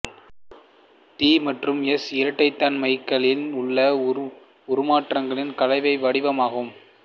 D மற்றும் S இரட்டைத்தன்மைகளில் உள்ள உருமாற்றங்களின் கலவை வடிவம் ஆகும்